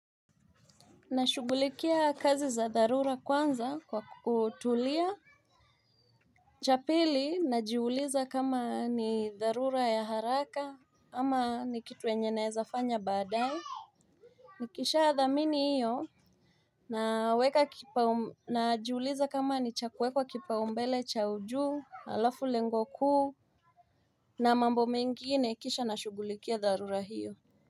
Nashugulikia kazi za dharura kwanza kwa kutulia Chapili najiuliza kama ni dharura ya haraka ama ni kitu yenye naezafanya badae Nikisha thamini iyo Naweka najiuliza kama ni cha kuwekwa kipao mbele cha ujuu alafu lengo kuu na mambo mengine kisha nashugulikia dharura hiyo.